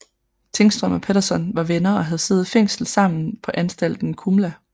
Tingström og Pettersson var venner og havde siddet i fængsel sammen på Anstalten Kumla